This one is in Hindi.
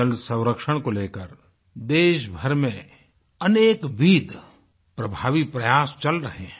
जल संरक्षण को लेकर देशभर में अनेक विद प्रभावी प्रयास चल रहे हैं